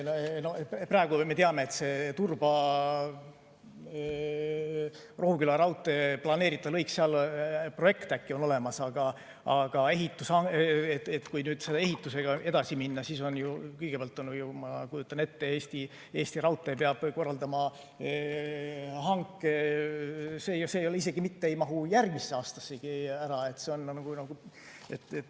Praegu me teame, et Turba–Rohuküla planeeritava lõigu kohta projekt on vist olemas, aga kui nüüd selle ehitusega edasi minna, siis kõigepealt, ma kujutan ette, Eesti Raudtee peab korraldama hanke ja see ei mahu isegi mitte järgmisse aastasse ära.